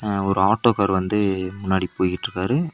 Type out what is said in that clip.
அ ஒரு ஆட்டோகார் வந்து முன்னாடி போய்கிட்ருக்காரு.